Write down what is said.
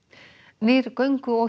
nýr göngu og